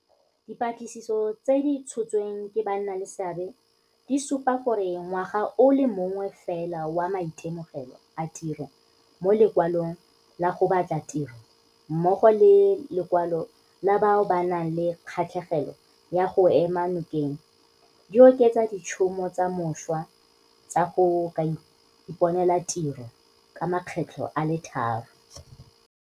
Dipatlisiso tse di tshotsweng ke bannaleseabe di supa gore ngwaga o le mongwe fela wa maitemogelo a tiro mo Lekwalong la go Batla Tiro, mmogo le lekwalo la bao ba nang le kgatlhegelo ya go go ema nokeng, di oketsa ditšhono tsa mošwa tsa go ka iponela tiro ka makgetlho a le tharo.